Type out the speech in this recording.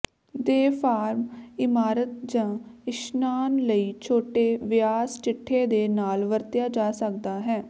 ਦੇ ਫਾਰਮ ਇਮਾਰਤ ਜ ਇਸ਼ਨਾਨ ਲਈ ਛੋਟੇ ਵਿਆਸ ਚਿੱਠੇ ਦੇ ਨਾਲ ਵਰਤਿਆ ਜਾ ਸਕਦਾ ਹੈ